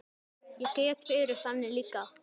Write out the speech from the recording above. Ég get verið þannig líka.